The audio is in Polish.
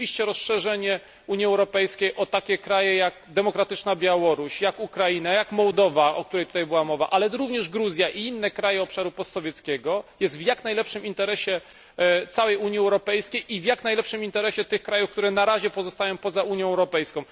Rzeczywiście rozszerzenie Unii Europejskiej o takie kraje jak demokratyczna Białoruś, Ukraina, Mołdawia, o której tutaj była mowa, ale również Gruzja i inne kraje obszaru postsowieckiego, jest w jak najlepszym interesie całej Unii Europejskiej i w jak najlepszym interesie tych krajów, które na razie pozostają poza Unią Europejską.